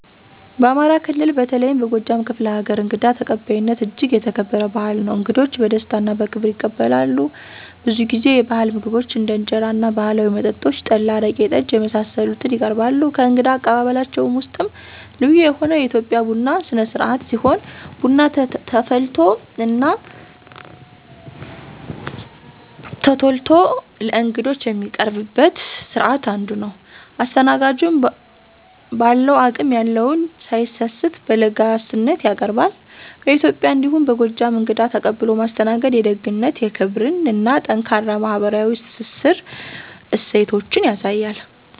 በአማራ ክልል በተለይም በጎጃም ክፍለ ሀገር እንግዳ ተቀባይነት እጅግ የተከበረ ባህል ነው። እንግዶች በደስታ እና በክብር ይቀበላሉ፣ ብዙ ጊዜ የባህል ምግቦችን እንደ እንጀራ እና ባህላዊ መጠጦች (ጠላ፣ አረቄ፣ ጠጅ) የመሳሰሉትን ይቀርባሉ። ከእንግዳ አቀባበላቸው ውስጥም ልዩ የሆነው የኢትዮጵያ ቡና ስነስርአት ሲሆን ቡና ተቆልቶ እና ተፈልቶ ለእንግዶች የሚቀርብበት ስርአት አንዱ ነው። አስተናጋጁን በአለው አቅም የለውን ሳይሰስት በለጋስነት ያቀርባሉ። በኢትዬጵያ እንዲሁም በጎጃም እንግዳን ተቀብሎ ማስተናገድ የደግነትን፣ የክብርን እና ጠንካራ ማህበራዊ ትስስር እሴቶችን ያሳያል።